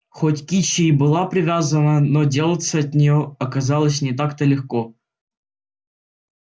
хоть кичи и была привязана но делаться от нее оказалось не так то легко